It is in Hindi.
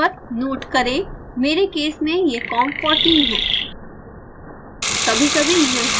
उचित com नंबर नोट करें मेरे केस में यह com14 है